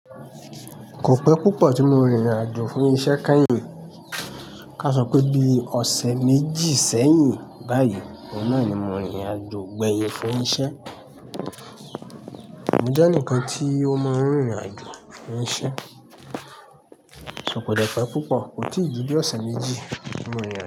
Kò pẹ́ púpọ̀ tí mo rìnrìn àjò fún isẹ́ kányìn. Ká sọ pé bí i ọ̀sẹ̀ méjì sẹ́yìn báyìí, ọ̀hun nà ni mo rìnrìn àjò gbẹyin fún isẹ́. Mo jẹ́ ẹnìkan tí ó máa ń rìnrìn àjò fún isẹ́, ṣo kò dẹ pẹ́ púpọ̀, kò tí ì ju bi ọ̀sẹ̀ méjì tí mo rìnrìn àjò.